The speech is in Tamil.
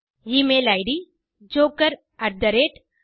email it